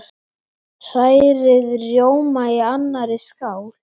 Hrærið rjóma í annarri skál.